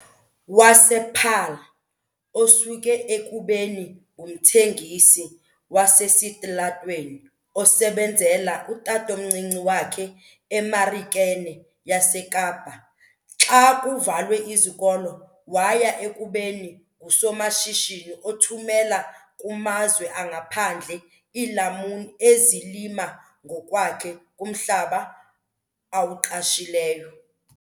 wasePaarl, osuke ekubeni ngumthengisi wasesitalatweni osebenzela utatomncinci wakhe eMarikeni yaseKapa xa kuvalwe izikolo waya ekubeni ngusomashishini othumela kumazwe angaphandle iilamuni ezilima ngokwakhe kumhlaba awuqeshileyo.